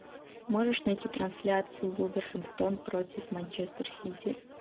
можешь найти трансляцию вулверхэмптон против манчестер сити